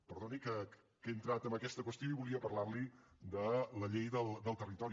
perdoni que hagi entrat en aquesta qüestió i volia parlarli de la llei del territori